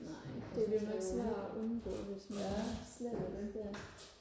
nej det bliver nok svært og undgå hvis man slet ikke vil